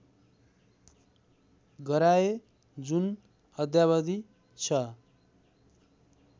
गराए जुन अद्यावधि छ